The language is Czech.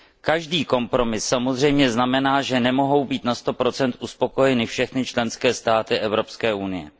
Každý kompromis samozřejmě znamená, že nemohou být na 100 uspokojeny všechny členské státy Evropské unie.